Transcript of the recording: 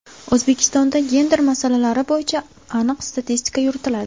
O‘zbekistonda gender masalalari bo‘yicha aniq statistika yuritiladi.